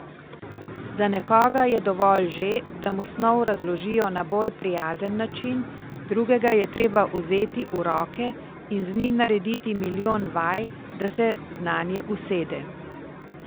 Za nekoga je dovolj že, da mu snov razložijo na bolj prijazen način, drugega je treba vzeti v roke in z njim narediti milijon vaj, da se znanje usede.